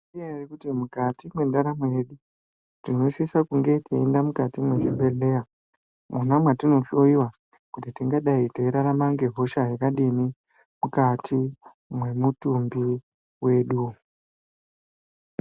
Mwaizviziyz ere kuti mukati mwendaramo yedu tinosise kunge teiende mukati mwezvibhehleya mwona mwatinohloiwa kuti tingadai teirarama nehosha yakadini mukati mwemitumbi yedu.